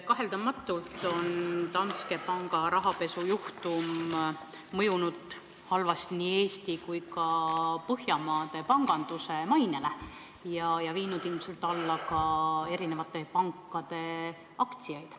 Kaheldamatult on Danske panga rahapesujuhtum mõjunud halvasti nii Eesti kui ka Põhjamaade panganduse mainele ja viinud ilmselt alla ka eri pankade aktsiate hinnad.